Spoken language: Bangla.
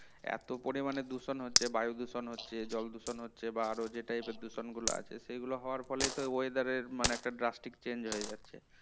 এত পরিমানে দূষণ হচ্ছে বায়ু দূষণ হচ্ছে জল দূষণ হচ্ছে বা আরও যে type এর দূষণগুলো আছে সেগুলো হওয়ার ফলেই তো এই weather এর মানে একটা drastic change হয়ে যাচ্ছে